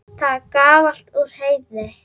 Það er gamalt úr Heiðni!